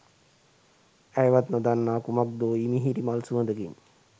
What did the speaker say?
ඇයවත් නොදන්නා කුමක්දෝ ඉමිහිරි මල් සුවඳකින්